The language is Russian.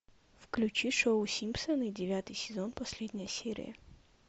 включи шоу симпсоны девятый сезон последняя серия